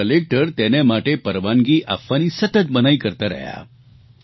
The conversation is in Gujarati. અને કલેકટર તેને માટે પરવાનગી આપવાની સતત મનાઇ કરતા રહ્યા